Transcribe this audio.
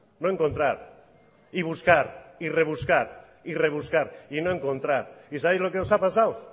no encontrar y buscar y rebuscar y rebuscar y no encontrar y sabéis lo que os ha pasado